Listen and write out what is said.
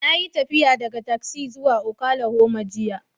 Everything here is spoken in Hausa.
Na yi tafiya daga Texas zuwa Oklahoma jiya